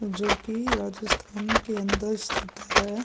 जो की राजस्थान के अंदर स्थित है।